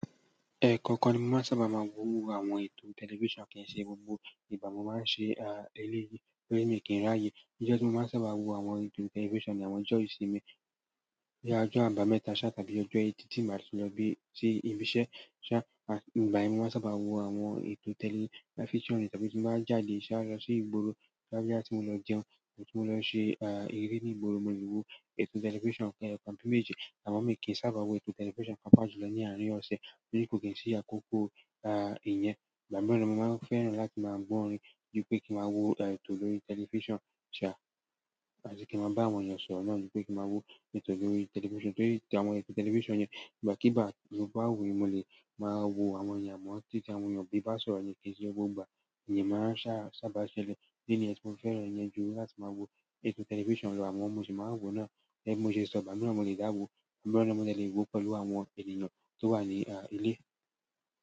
Ẹkọ kan ni mo máa sábà máa ń wo àwọn ètò tẹlifíṣàn kì í ṣe gbogbo ìgbà mo máa ń ṣe eléyìí lórí mi kí n ráàyè. Ojo tí mo máa sábà wo àwọn ètò tẹlifíṣàn ní àwọn ọjọ́ ìsinmi bíi ọjọ́ àbámẹ́ta ṣá tàbí ọjọ́ ètì tí màá ti lọ bi ṣi ibi iṣẹ́ ṣá, igbàyén mo máa sábà wo àwọn ètò tẹlifíṣàn tàbí tí mo bá jáde ṣá lọ sí ìgbóro tàbí boya ti mo lọ jẹun ti mo lo se ere nigboro, mo le wo telifisan kan tàbí méjì amo mi o kin sábà wo telifisan papa jùlọ ni arin ose bi ko kin si akoko iyen ìgbà miran mo máa ń fẹ́ràn láti máa gbọ́ orin ju pé kí n máa wo ẹ̀tọ́ lórí tẹlifíṣàn àbí kí n máa bá àwọn èèyàn sọ̀rọ̀ náà ju pé kí n máa wo ètò lórí tẹlifíṣàn torí àwọn ètò tẹlifíṣàn yẹn ìgbàkígbà tí mo bá wò mo lè máa wo àwọn èèyàn mọ́ tí tí àwọn èèyàn bá ń sọ̀rọ̀ ní kì ṣe gbogbo ìgbà ìyẹn máa ń sá sábà ṣẹlẹ̀, ídí niyen ti mo fẹ́ràn ìyẹn ju láti máa wo ètò tẹlifíṣàn lọ àmo mo ṣì máa ń wo náà gẹ́gẹ́ bi mo ṣe sọ̀ ìgbà miran mo lè dá wo, mo de wo pẹ̀lú àwọn ènìyàn tó wà ní ilé.